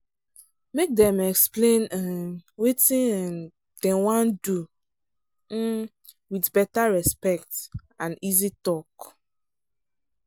make dem explain um wetin um dem wan do um with better respect and easy talk.